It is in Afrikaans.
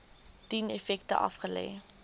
dien effekte aflê